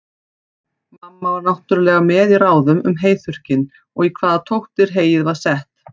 Mamma var náttúrlega með í ráðum um heyþurrkinn, og í hvaða tóttir heyið var sett.